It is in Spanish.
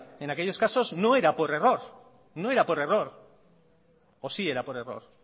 en aquellos casos no era por error no era por error o sí era por error